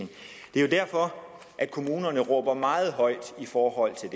det er jo derfor kommunerne råber meget højt i forhold til